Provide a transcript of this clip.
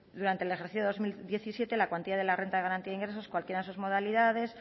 durante el ejercicio dos mil diecisiete la cuantía de la renta de garantía de ingresos en cualquiera de sus modalidades